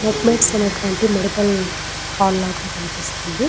మెద్మిక్ష్ అనేటువంటి medical hall లాగా కనిపిస్తుంది.